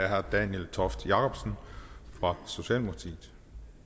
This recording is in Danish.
herre daniel toft jakobsen fra socialdemokratiet